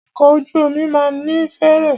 Ọkọ̀ ojú omi máà ní fèèrè.